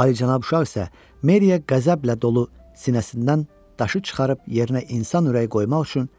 Ali Cənab şah isə Meriyə qəzəblə dolu sinəsindən daşı çıxarıb yerinə insan ürəyi qoymaq üçün